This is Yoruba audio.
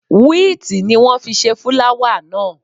Wíìtì ni wọ́n fi ṣe fúláwà náà.